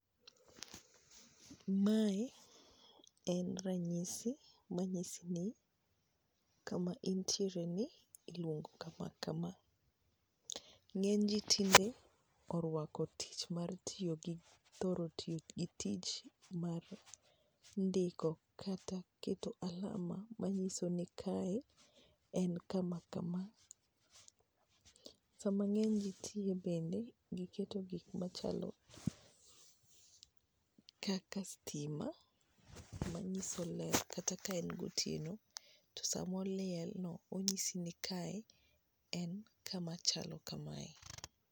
Mae en ranyisi manyisi ni kama intiereni iluongo kama kama, ng'eny ji tinde orwako tich mar thoro tiyo gi tich mar ndiko kata keto alama manyiso ni kae en kama kama, sama ng'eny ji tiyo bende giketo gik machalo kaka stima manyiso ler kata ka en gotieno to sama olielno onyisi ni kae en kama chalo kamae.